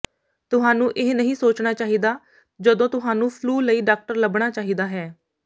ਤੁਹਾਨੂੰ ਇਹ ਨਹੀਂ ਸੋਚਣਾ ਚਾਹੀਦਾ ਜਦੋਂ ਤੁਹਾਨੂੰ ਫਲੂ ਲਈ ਡਾਕਟਰ ਲੱਭਣਾ ਚਾਹੀਦਾ ਹੈ